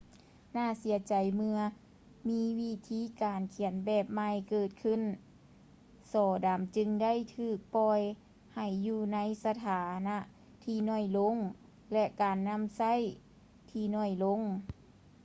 ໜ້າເສຍໃຈເມື່ອມີວິທີການຂຽນແບບໃໝ່ເກີດຂື້ນ ສໍດຳຈຶ່ງໄດ້ຖືກປ່ອຍໃຫ້ຢູ່ໃນສະຖານະທີ່ໜ້ອຍລົງ ແລະ ການນຳໃຊ້ທີ່ໜ້ອຍລົງ